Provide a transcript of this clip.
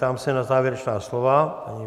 Ptám se na závěrečná slova?